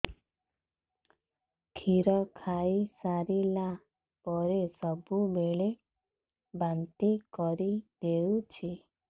କ୍ଷୀର ଖାଇସାରିଲା ପରେ ସବୁବେଳେ ବାନ୍ତି କରିଦେଉଛି